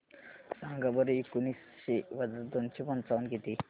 सांगा बरं एकोणीसशे वजा दोनशे पंचावन्न किती